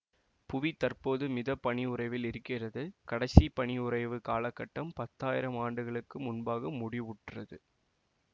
புவி தற்போது மித பனியுறைவில் இருக்கிறது கடைசி பனியுறைவு காலகட்டம் பத்தாயிரம் ஆண்டுகளுக்கு முன்பாக முடிவுற்றது